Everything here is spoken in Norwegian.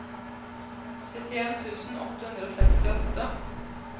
syttien tusen åtte hundre og sekstiåtte